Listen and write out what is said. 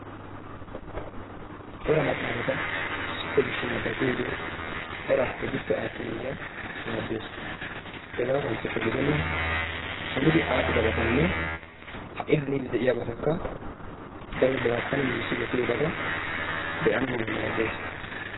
cora maxaafata issippe shiishshi nababiyoogee eraa keehippe aasana mala maaddees. Hegaa kanchekka gidenna haanidi adhdhidabatanne ha'i haanidi de'iyaabatakka bawu ba garssan giigissi wottidobata be'ana mala maaddees.